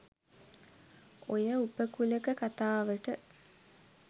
ඔය උපකුලක කත‍ාවට